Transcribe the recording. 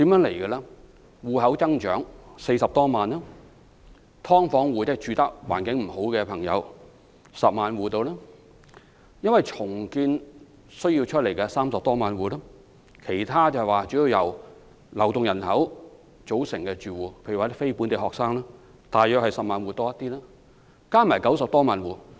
住戶數目增長40多萬；"劏房戶"，即居住環境欠佳人士約有10萬戶；因為重建而需要安置的人士約有30多萬戶；其他主要由流動人口組成的住戶，如非本地學生，則略多於10萬戶；合共90多萬戶。